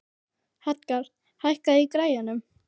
Edgar, hækkaðu í græjunum.